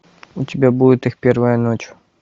у тебя будет их первая ночь